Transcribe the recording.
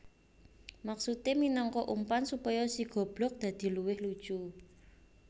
Maksudé minangka umpan supaya si goblog dadi luwih lucu